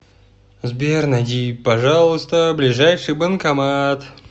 сбер найди пожалуйста ближайший банкомат